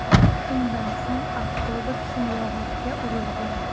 Shundan so‘ng avtobus simyog‘ochga urilgan.